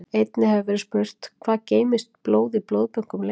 Einnig hefur verið spurt: Hvað geymist blóð í blóðbönkum lengi?